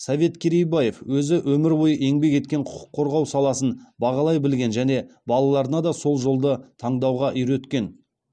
совет керейбаев өзі өмір бойы еңбек еткен құқық қорғау саласын бағалай білген және балаларына да сол жолды таңдауға үйреткен